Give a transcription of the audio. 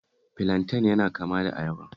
Filanten yana kama da ayaba